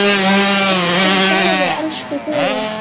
Hvíldu í friði, elsku Guðrún.